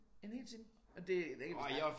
En hel time og og det kan vi snakke